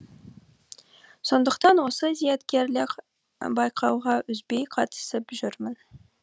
сондықтан осы зияткерлік байқауға үзбей қатысып жүрмін